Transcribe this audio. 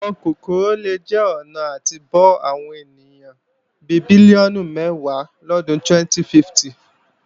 Àwọn kòkòrò lè jẹ́ ọ̀nà àti bọ́ àwọn ènìyàn bi bílíọ̀nù mẹ́wàá lọdún 2050.